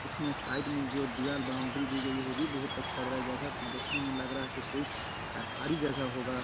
इसमें साइड में जो दिवार बाउंड्री दी गयी होगी बहुत अच्छा है जगह को देखने में लग रहा है कोई सरकारी जगह होगा।